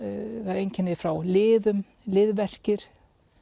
einkenni frá liðum liðverkir